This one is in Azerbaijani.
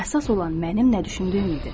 Əsas olan mənim nə düşündüyüm idi.